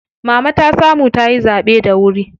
Mama ta samu tayi zaɓe da wuri.